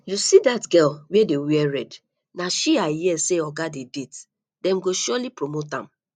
you see dat girl wey wear red na she i hear say oga dey date dem go surely promote am